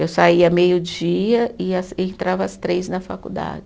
Eu saía meio dia e as, e entrava às três na faculdade.